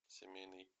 семейный